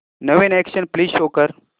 नवीन action flick show कर